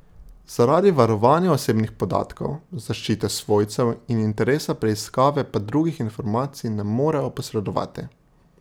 Zaradi varovanja osebnih podatkov, zaščite svojcev in interesa preiskave pa drugih informacij ne morejo posredovati.